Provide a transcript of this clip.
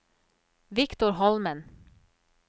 Victor Holmen